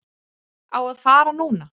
Á að fara núna.